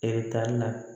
Eretari la